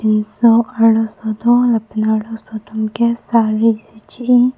pinso arloso do lapen arloso tum ke sari si che i.